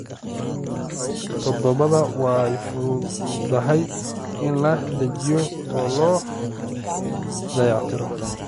Todobaad, way fududahay in la dejiyo oo la dayactiro.